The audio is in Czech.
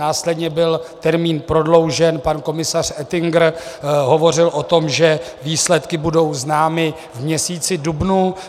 Následně byl termín prodloužen, pan komisař Oettinger hovořil o tom, že výsledky budou známy v měsíci dubnu.